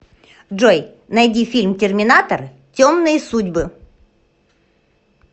джой найди фильм терминатор темные судьбы